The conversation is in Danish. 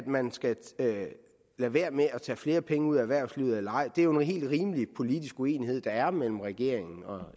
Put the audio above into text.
man skal lade være med at tage flere penge ud af erhvervslivet eller ej og det er jo en helt rimelig politisk uenighed som der er mellem regeringen og